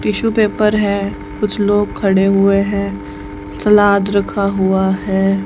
Tissue paper है कुछ लोग खडे हुए है सलाद रखा हुआ है।